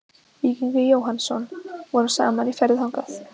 Víkingur Jóhannsson vorum saman í ferðum þangað.